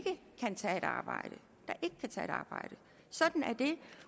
kan tage et arbejde sådan er det